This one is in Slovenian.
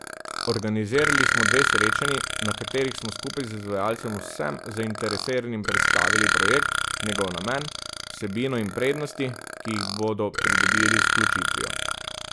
Organizirali smo dve srečanji, na katerih smo skupaj z izvajalcem vsem zainteresiranim predstavili projekt, njegov namen, vsebino in prednosti, ki jih bodo pridobili z vključitvijo.